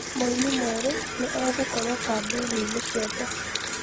Mũini mwerũ nĩ egũkorũo kambĩini ciothe